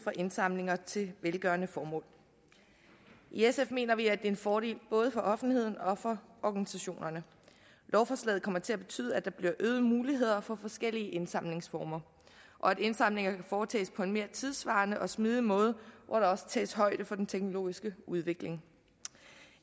indsamlinger til velgørende formål i sf mener vi er en fordel både for offentligheden og for organisationerne lovforslaget kommer til at betyde at der bliver øgede muligheder for forskellige indsamlingsformer og at indsamlinger kan foretages på en mere tidssvarende og smidig måde hvor der også tages højde for den teknologiske udvikling